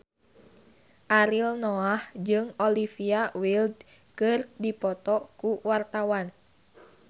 Ariel Noah jeung Olivia Wilde keur dipoto ku wartawan